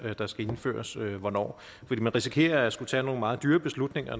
der skal indføres hvornår man risikerer at skulle tage nogle meget dyre beslutninger